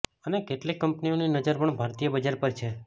અને કેટલીક કંપનીઓની નજર પણ ભારતીય બજાર પર છે